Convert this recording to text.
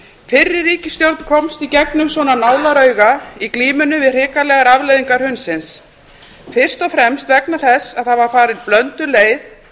fyrri ríkisstjórn komst í gegnum svona nálarauga í glímunni við hrikalegar afleiðingar hrunsins fyrst og fremst vegna þess að það var farin blönduð leið